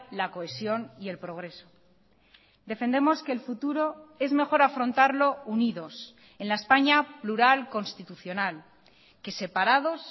la cohesión y el progreso defendemos que el futuro es mejor afrontarlo unidos en la españa plural constitucional que separados